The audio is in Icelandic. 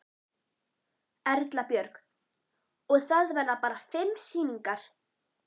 Erla Björg: Og það verða bara fimm sýningar?